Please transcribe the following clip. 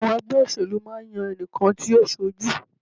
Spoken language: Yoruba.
Àwọn ẹgbẹ́ òṣèlú máa ń yan ẹnìkan tí yóò ṣojú.